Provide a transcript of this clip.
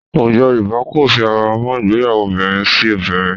Àwùjọ Yorùbá kò fi ara mọ́ ìgbéyàwó obìnrin sí obìnrin